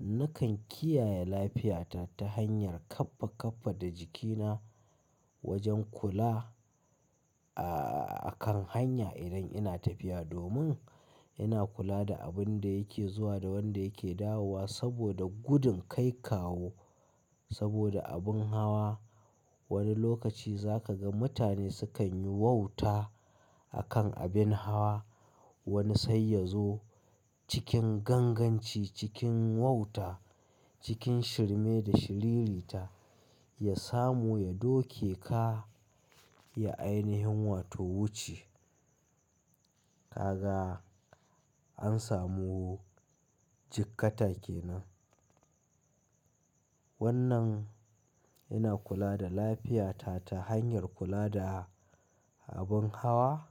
nakan kiyaye lafiyata ta hanyar kaffa kaffa da jikina wajen kula, a-a-akan hanya idan ina tafiya domin ina kula da abin da yake zuwa da wanda yake dawowa saboda gudun kai kawo saboda abin hawa. Wani lokaci za ka ga mutane sukan yi wauta a kan abin hawa. Wani sai ya zo cikin ganganci cikin wauta cikin shirme da shiriri ta ya samu ya doke ka ya ainihin wato wuce. Ka ga an samu jikkata kenan. Wannan ina kula da lafiyata ta hanyar kula da abin hawa.